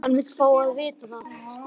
Hann vill fá að vita það.